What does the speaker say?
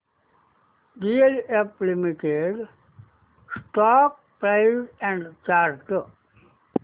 DLF limited stock price and chart